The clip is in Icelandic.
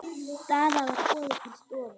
Daða var boðið til stofu.